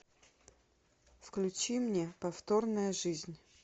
включи мне повторная жизнь